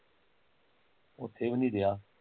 ਓਥੇ ਵੀ ਨੀ ਰੀਹਾਂ